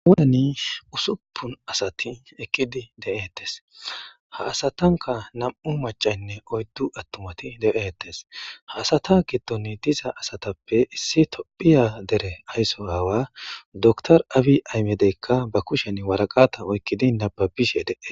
Awuyeni usuppun asati eqqidi de7etes ha asatanka nam7u macaynne oyddu attumati de7etes haasata giddon diza asatappe issi tophiya dere aysso aawa door awi aymedeykka ba kushen waraqata oykkidi nababishe dee.